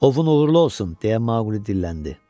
Ovon uğurlu olsun, deyə Maqli dilləndi.